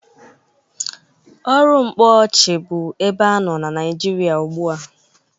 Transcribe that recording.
Ọrụ mkpọọchị bụ ebe anọ na Nịajịrịa ugbụ a.